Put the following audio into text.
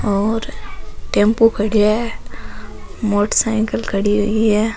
और टेम्पो खड्या है मोटरसाईकल खड़ी हुई है।